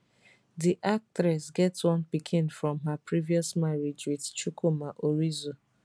di actress get one pikin from her previous marriage wit chukwuma orizu